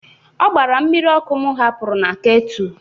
Ọ gbaara mmiri ọkụ m hapụrụ na ketu.